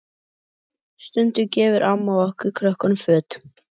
Stundum gefur amma okkur krökkunum föt.